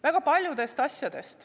Väga paljudest asjadest.